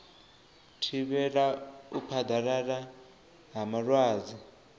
thivhela u phaḓalala ha malwadze